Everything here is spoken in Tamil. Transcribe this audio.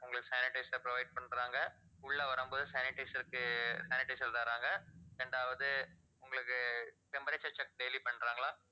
உங்களுக்கு sanitizer அ provide பண்றாங்க. உள்ள வரும்போது sanitizer க்கு sanitizer தர்றாங்க இரண்டாவது உங்களுக்கு temperature check daily பண்றாங்களா